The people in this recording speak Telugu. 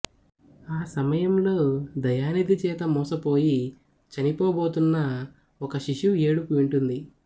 ఆ సమయంలో దయానిధి చేత మోసపోయి చనిపోబోతున్న ఒక శిశువు ఏడుపు వింటుంది